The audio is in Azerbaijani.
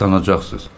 Islanacaqsız.